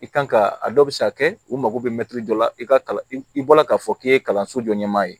I kan ka a dɔ bi se ka kɛ u mago bɛ dɔ la i ka kalan i bɔla k'a fɔ k'i ye kalanso jɔ ɲɛmaa ye